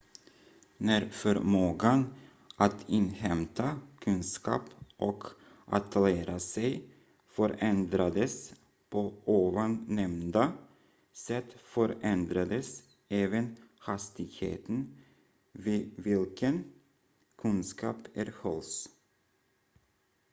när förmågan att inhämta kunskap och att lära sig förändrades på ovannämnda sätt förändrades även hastigheten vid vilken kunskap erhölls